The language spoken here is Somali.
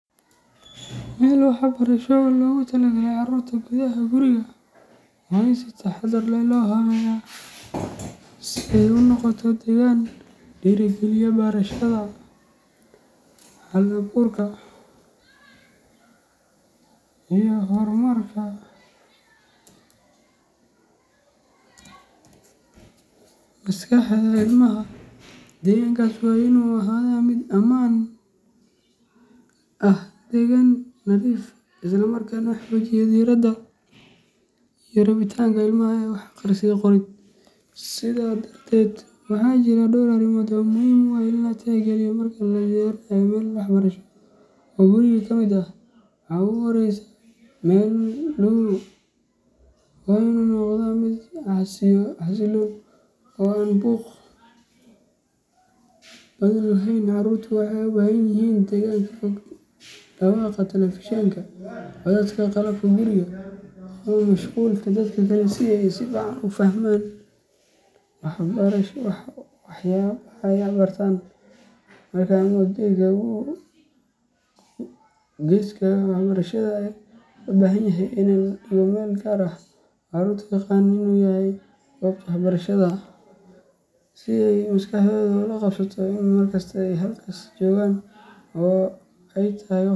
Meel waxbarasho oo loogu talagalay carruurta gudaha guriga waa in si taxaddar leh loo habeeyaa si ay u noqoto deegaan dhiirrigeliya barashada, hal abuurka, iyo horumarka maskaxda ilmaha. Deegaankaas waa inuu ahaadaa mid ammaan ah, deggan, nadiif ah, isla markaana xoojiya diiradda iyo rabitaanka ilmaha ee wax akhris iyo qorid. Sidaa darteed, waxaa jira dhowr arrimood oo muhiim u ah in la tixgeliyo marka la diyaarinayo meel waxbarasho oo guriga ka mid ah. Marka ugu horreysa, meelduhu waa inuu noqdaa mid xasiloon oo aan buuq badan lahayn. Carruurtu waxay u baahan yihiin degaan ka fog dhawaqa telefishinka, codadka qalabka guriga, ama mashquulka dadka kale si ay si fiican u fahmaan waxyaabaha ay bartaan. Qolka ama geeska waxbarashada ayaa loo baahan yahay in laga dhigo meel gaar ah oo carruurtu u yaqaanaan inuu yahay "goobta waxbarashada", si ay maskaxdoodu ula qabsato in markasta oo ay halkaas joogaan ay tahay .